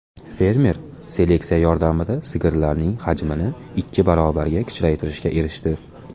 Fermer seleksiya yordamida sigirlarning hajmini ikki barobarga kichraytirishga erishdi.